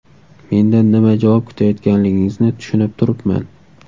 Mendan nima javob kutayotganligingizni tushunib turibman.